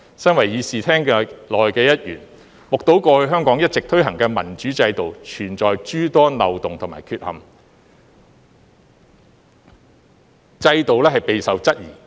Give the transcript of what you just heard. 身為議事廳內的一員，目睹過去香港一直推行的民主制度存有諸多漏洞和缺陷，制度備受質疑。